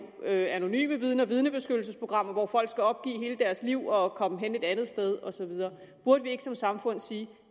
anonyme vidner og vidnebeskyttelsesprogrammer hvor folk skal opgive hele deres liv og komme hen et andet sted og så videre burde vi ikke som samfund sige